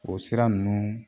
O sira ninnu